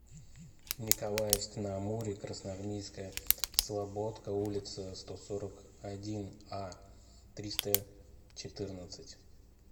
николаевск на амуре красноармейская слободка улица сто сорок один а триста четырнадцать